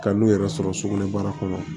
Ka n'u yɛrɛ sɔrɔ sugunɛbara kɔnɔ